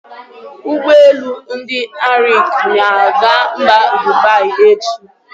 Ụgbọelu ndị Arik na-aga mba Dubai echi.